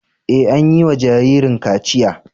Ee, an yi wa jaririn kachiya.